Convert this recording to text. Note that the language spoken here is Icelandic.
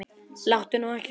Láttu nú ekki svona